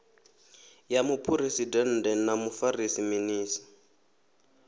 ya muphuresidennde na mufarisa minis